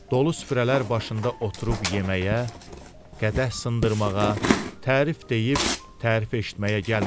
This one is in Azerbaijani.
Dolu süfrələr başında oturub yeməyə, qədəh sındırmağa, tərif deyib, tərif eşitməyə gəlmirəm.